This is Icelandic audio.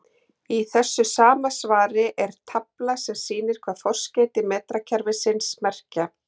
Í þessu sama svari er tafla sem sýnir hvað forskeyti metrakerfisins merkja.